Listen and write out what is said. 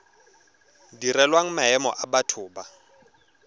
direlwang maemo a batho ba